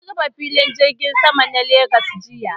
An rufe filin jirgin Sama na Legas jiya